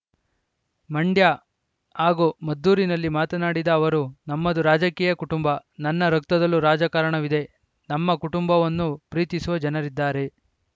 ಮಂಡ್ಯ ಹಾಗೂ ಮದ್ದೂರಿನಲ್ಲಿ ಮಾತನಾಡಿದ ಅವರು ನಮ್ಮದು ರಾಜಕೀಯ ಕುಟುಂಬ ನನ್ನ ರಕ್ತದಲ್ಲೂ ರಾಜಕಾರಣವಿದೆ ನಮ್ಮ ಕುಟುಂಬವನ್ನು ಪ್ರೀತಿಸುವ ಜನರಿದ್ದಾರೆ